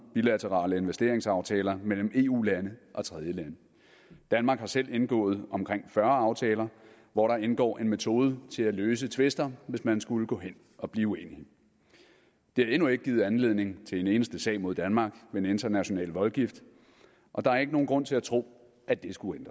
bilaterale investeringsaftaler mellem eu lande og tredjelande danmark har selv indgået omkring fyrre aftaler hvor der indgår en metode til at løse tvister hvis man skulle gå hen og blive uenige det har endnu ikke givet anledning til en eneste sag mod danmark ved en international voldgift og der er ikke nogen grund til at tro at det skulle